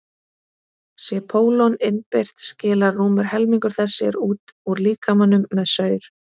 sé pólon innbyrt skilar rúmur helmingur þess sér út úr líkamanum með saur